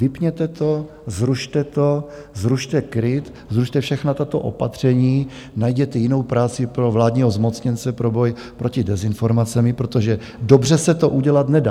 Vypněte to, zrušte to, zrušte KRIP, zrušte všechna tato opatření, najděte jinou práci pro vládního zmocněnce pro boj proti dezinformacím, protože dobře se to udělat nedá.